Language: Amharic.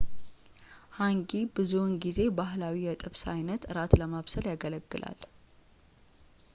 ሃንጊ ብዙውን ጊዜ ባህላዊ የጥብስ አይነት እራት ለማብሰል ያገለግላል